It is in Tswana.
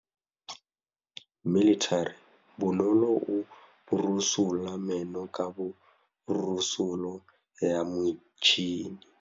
Bonolô o borosola meno ka borosolo ya motšhine.